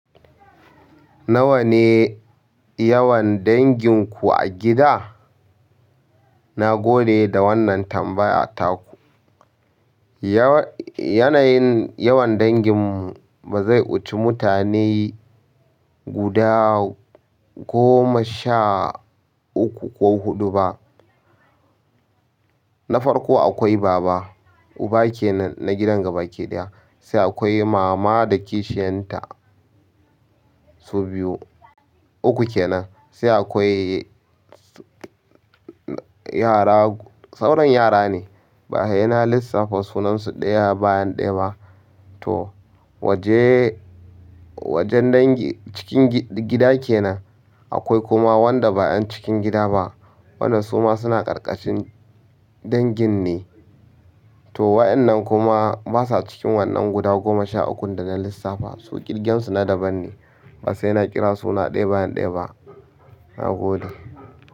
Nawa ne yawan dangin ku a gida? Na gode da wannan tambaya a tako. Yanayin yawan dangin mu ba zai wuce mutane guda goma sha uku ko huɗu ba. Na farko akwai baba, uba kenan na gidan gaba ki ɗaya. Sai akwai mama da kishiyanta, su biyu, uku kenan. Sai akwai yara, sauran yara ne. Ba a ina lissafa sunansu ɗaya bayan ɗaya ba. Toh waje wajen dangi cikin gida kenan. Akwai kuma wanda ba 'yan cikin gida ba. Wannan suma suna ƙarƙashin dangin ne. To wayannan kuma basa cikin wannan guda goma sha ukun da na lissafa. Su ƙirgen su na daban ne. Ba sai ina kira suna ɗaya bayan ɗaya ba. Na gode.